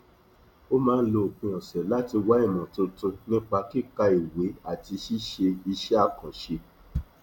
ó máa ń lo òpin ọsẹ láti wá ìmọ tuntun nípa kíka ìwé àti ṣíṣe iṣẹ àkànṣe